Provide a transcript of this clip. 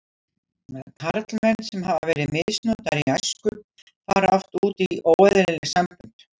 Karlmenn sem hafa verið misnotaðir í æsku fara oft út í óeðlileg sambönd.